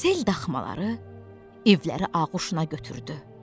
Sel daxmaları, evləri ağuşuna götürdü.